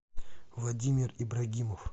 владимир ибрагимов